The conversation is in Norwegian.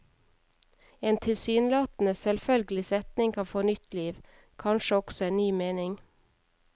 En tilsynelatende selvfølgelig setning kan få nytt liv, kanskje også en ny mening.